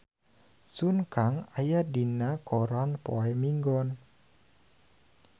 Sun Kang aya dina koran poe Minggon